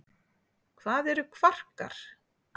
hvað eru kvarkar